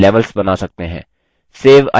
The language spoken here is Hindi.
save icon पर click करें